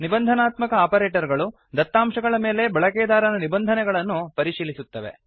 ನಿಬಂಧನಾತ್ಮಕ operator ಗಳು ದತ್ತಾಂಶಗಳ ಮೇಲೆ ಬಳಕೆದಾರನ ನಿಬಂಧೆನಗಳನ್ನುಕಂಡೀಶನ್ ಪರಿಶೀಲಿಸುತ್ತವೆ